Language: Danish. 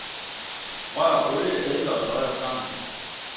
Rør olie, eddike og soya sammen.